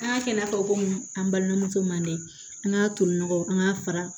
An y'a kɛ i n'a fɔ komi an balimamuso manden an ka tolinɔgɔ an k'a fara